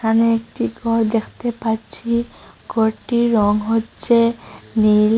এখানে একটি ঘর দেখতে পাচ্ছি ঘরটির রং হচ্ছে নীল।